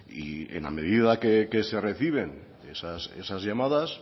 y en la medida que se reciben esas llamadas